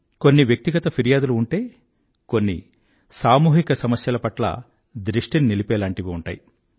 కొన్ని వ్యక్తిగత ఫిర్యాదులు ఉమ్టే కొన్ని సామూహిక సమస్యల పట్ల దృష్టిని నిలిపేలాంటివి ఉంటాయి